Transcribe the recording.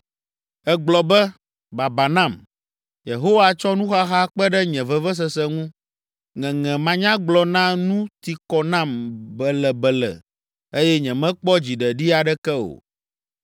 Ègblɔ be, ‘Baba nam! Yehowa tsɔ nuxaxa kpe ɖe nye vevesese ŋu. Ŋeŋe manyagblɔ na nu ti kɔ nam belebele eye nyemekpɔ dziɖeɖi aɖeke o.’ ”